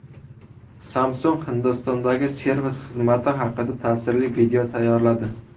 Samsung Hindistondagi servis xizmati haqida ta’sirli video tayyorladi.